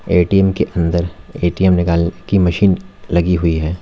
ATM के अंदर ATM निकालने की मशीन लगी हुई है।